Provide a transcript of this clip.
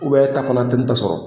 e ta kalan tɛ ne ta sɔrɔ.